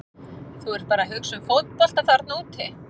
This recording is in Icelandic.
Þú ert bara að hugsa um fótbolta þarna úti.